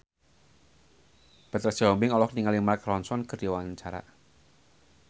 Petra Sihombing olohok ningali Mark Ronson keur diwawancara